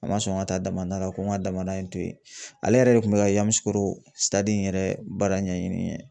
A ma sɔn ka taa damada la ko n ka damada in to yen, ale yɛrɛ de kun bɛ ka Yamusukoro in yɛrɛ baara ɲɛɲini n ye.